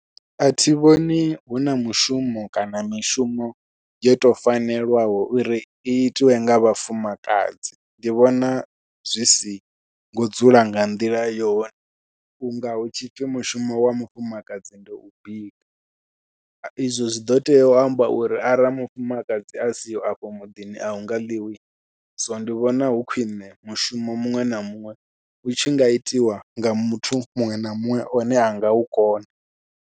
Athi vhoni huna mushumo kana mishumo yo tou fanelaho uri i itiwa nga vhafumakadzi, ndi vhona zwi singo dzula nga nḓila yone vhunga hu tshipfhi mushumo wa mufumakadzi ndi u bika. Izwo zwi ḓo tea u amba uri arali mufumakadzi a siho afho muḓini ahunga ḽiwi so ndi vhona hu khwiṋe mushumo muṅwe na muṅwe u tshinga itiwa nga muthu muṅwe na muṅwe one a ngau kona.